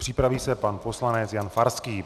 Připraví se pan poslanec Jan Farský.